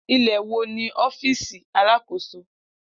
Ilẹ wo ni ọfiisi Alakoso?